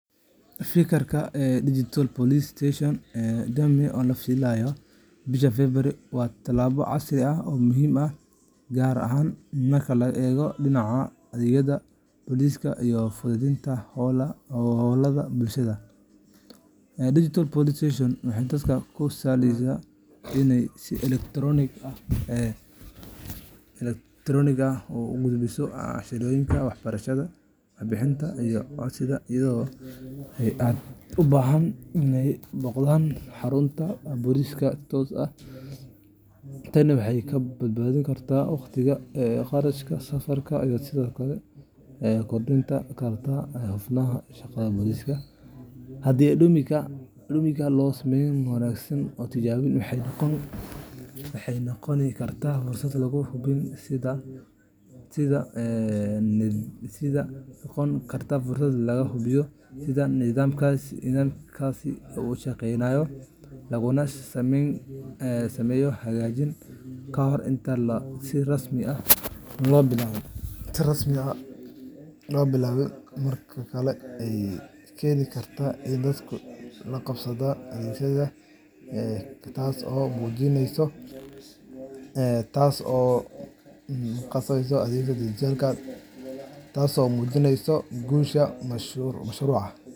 Fikradda ah Digital Police Station Dummy oo la filayo bisha February waa talaabo casri ah oo muhiim ah, gaar ahaan marka laga eego dhinaca adeegyada booliska iyo fududeynta howlaha bulshada. Digital Police Station waxay dadka u sahlaysaa inay si elektaroonik ah u gudbiyaan cabashooyinka, warbixinaha, iyo codsiyada iyaga oo aan u baahnayn inay booqdaan xarunta booliska si toos ah. Tani waxay ka badbaadin kartaa waqtiga, kharashka safarka, iyo sidoo kale waxay kordhin kartaa hufnaanta shaqada booliska. Haddii dummy-ga loo sameeyo si wanaagsan oo la tijaabiyo, waxay noqon kartaa fursad lagu hubiyo sida nidaamkaasi u shaqeynayo, laguna sameeyo hagaajin kahor inta aan si rasmi ah loo bilaabin. Waxa kale oo ay keeni kartaa in dadku la qabsadaan adeegsiga digital-ka, taas oo muhiim u ah guusha mashruuca.